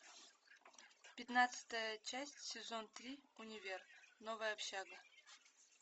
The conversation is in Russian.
пятнадцатая часть сезон три универ новая общага